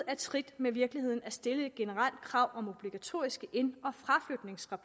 af trit med virkeligheden at stille et generelt krav om obligatoriske ind